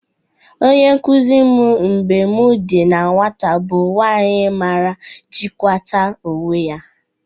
Onye nkụzị m mgbe m dị na nwata bụ nwaanyị mara ịjịkwakata onwe ya.